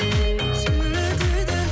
сүйме дедің